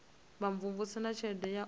vhumvumvusi na tshelede ya u